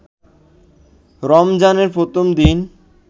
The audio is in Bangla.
রমজানের প্রথম দিন